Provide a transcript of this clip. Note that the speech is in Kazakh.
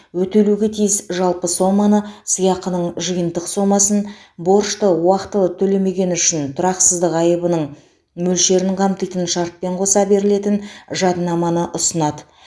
өтелуге тиіс жалпы соманы сыйақының жиынтық сомасын борышты уақтылы төлемегені үшін тұрақсыздық айыбының мөлшерін қамтитын шартпен қоса берілетін жадынаманы ұсынады